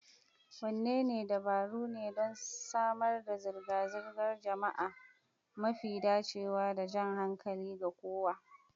Wadanne dabaru ne don samar da zirga-zirgar jama'a mafi dacewa da jan hankali ga kowa?